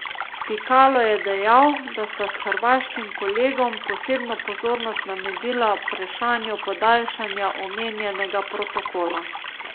Pikalo je dejal, da sta s hrvaškim kolegom posebno pozornost namenila vprašanju podaljšanja omenjenega protokola.